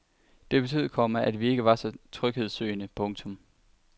Det betød, komma at vi ikke var så tryghedssøgende. punktum